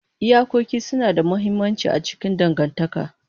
Iyakoki suna da mahimmanci a cikin dangantaka.